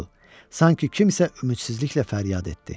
Budur, sanki kimsə ümidsizliklə fəryad etdi.